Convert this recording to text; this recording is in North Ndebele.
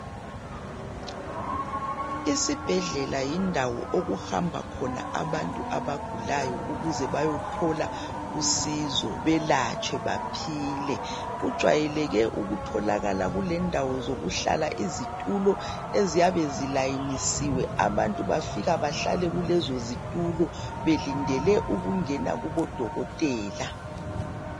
Isibhedlela yindawo okuhamba khona abantu abagulayo ukuze bayethola usizo belatshwe baphile. Kujwayeleke ukutholakala kulendawo zokuhlala izitulo eziyabe zilayinisiwe abantu bafika bahlale kulezozitulo belindele ukungena kubodokotela.